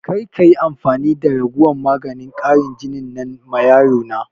Karka yi amfani da raguwan maganin ƙarin jinin nan ma yaro na!